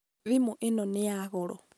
thĩmu ĩno nĩ ya goro